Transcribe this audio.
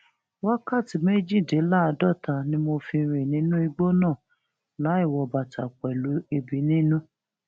wákàtí méjìdínláàádọta ni mo fi rìn nínú igbó náà láì wọ bàtà pẹlú ẹbí nínú